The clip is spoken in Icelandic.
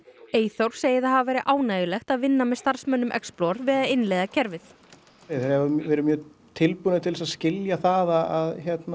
Eyþór segir það hafa verið ánægjulegt að vinna með starfsmönnum við að innleiða kerfið þeir hafa verið mjög tilbúnir til þess að skilja það að